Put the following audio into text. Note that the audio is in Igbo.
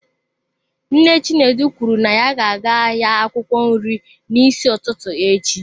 Nne Chinedu kwuru na ya ga-aga ahịa akwụkwọ nri n'isi ụtụtụ echi.